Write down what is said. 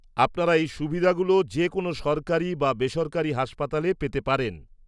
-আপনারা এই সুবিধাগুলো যেকোনো সরকারি বা বেসরকারি হাসপাতালে পেতে পারেন।